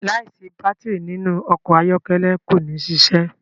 láì sí Bátìrì nínú ọkọ̀ ayọ́kẹ́lẹ́ kò ní ṣiṣẹ.